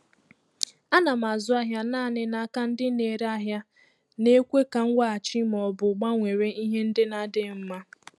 A na m azụ ahịa naanị n'aka ndị na-ere ahịa na-ekwe ka nweghachi ma ọ bụ gbanwere ihe ndị na-adịghị mma.